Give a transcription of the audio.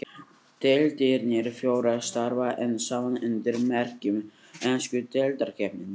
Deildirnar fjórar starfa enn saman undir merkjum ensku deildarkeppninnar.